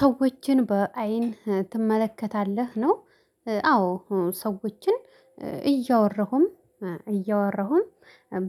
ሰዎችን በአይን ትመለከታለህ ነው? አዎ ሰዎችን እያወራሁም እያወራሁም